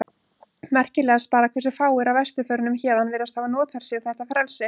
Merkilegast bara hversu fáir af vesturförunum héðan virðast hafa notfært sér þetta frelsi.